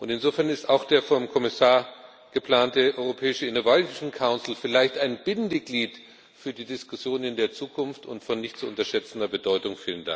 Insofern ist auch der vom Kommissar geplante europäische Innovation Council vielleicht ein Bindeglied für die Diskussion in der Zukunft und von nicht zu unterschätzender Bedeutung.